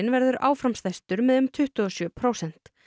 verður áfram stærstur með um tuttugu og sjö prósent